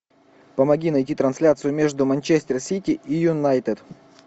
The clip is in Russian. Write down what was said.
помоги найти трансляцию между манчестер сити и юнайтед